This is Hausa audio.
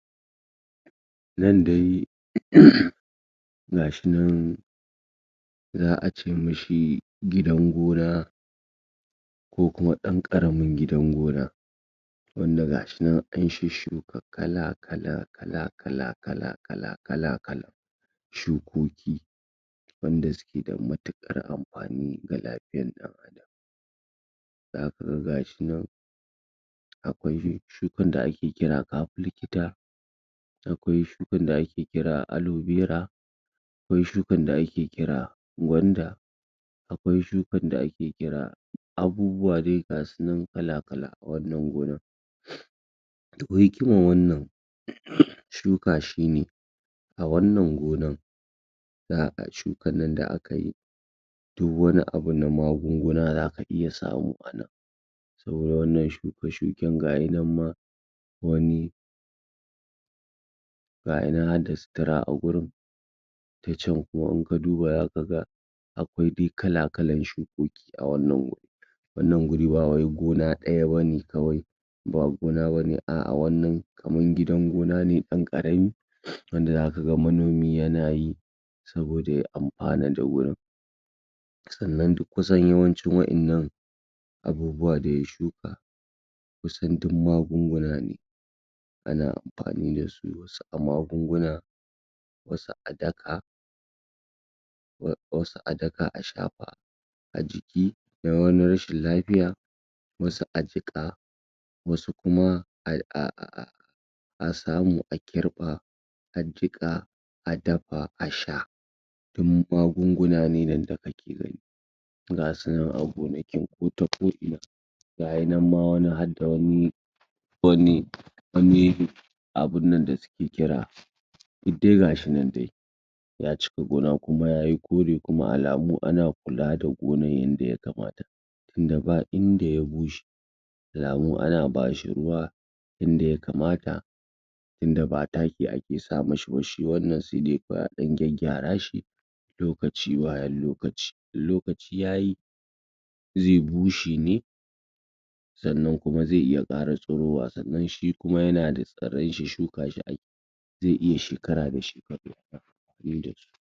nan dai? ga shi nan za'a ce mishi gidan gona ko kuma dan ƙaramin gidan gona wanda gashi nan a shuka kala kala kalakala kala kala kalakala shukoki wanda suke da matukar amfani ga lafiyar dan adam zaku ga gashi nan akwai shukan da ake kira kafi likita akwai shukan da ake kira alobera akwai shukar da ake kira gwanda akwai shukan da ake kira abubuwa gasu nan kalakala a wannan gonan to hikaman wannan shuka shine a wannan gonan za'a ga shukan nan da akayi duk wani abu na magunguna zaka iya samu a nan saboda wannan shuke shuken gayi nan ma wani gayi nan harda sutura agurin ta can kuma in ka duba zaka ga akwai dai kalakalan shukuki a wannan wuri wannan wuri ba wai gona daya bane ba wai gona na bane kamar gidan gona na ne dan ƙarami wanda zaka ga manoni yana yi saboda ya amfana da wurin sannan duk yawan ci wa'innan abubuwa da ya shuka wasun duk magunguna ne ana amfani dasu wasu a magunuguna wasu a daka wasu a daka a shafa ajiki don wani rashin lafiya wasu a jiƙa wasu kuma aa a a samu a kirɓa a jiƙa a dafa a sha duk magunguna na ne nan da kake gani gasu nan a gonakin kota ko ina gayinan ma wani harda wani wani wani abun nan da suke kira duk dai gashi nan dai yacika gona kuma yayi kore kuma alamu a na kula da gonan yanda ya kamata tunda ba inda ya bushe alamu ana bashi ruwa inda ya kamata tunda ba taki a ke sama sa mishi ba shi wannan sai dai kawai a dan gyarashi lokaci bayan lokaci in lokaci yayi zai bushe ne sannan kuma zai iya ƙara tsirowa sannan shikuma yana tsiraishi shuka shi akeyi zai iya shekara da shekaru?